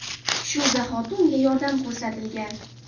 Shu zahoti unga yordam ko‘rsatilgan.